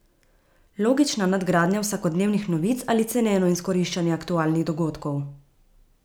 Logična nadgradnja vsakodnevnih novic ali ceneno izkoriščanje aktualnih dogodkov?